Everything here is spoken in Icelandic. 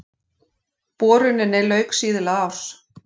Boruninni lauk síðla árs